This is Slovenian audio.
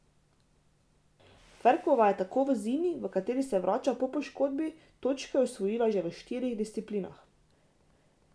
Ferkova je tako v zimi, v kateri se vrača po poškodbi, točke osvojila že v štirih disciplinah.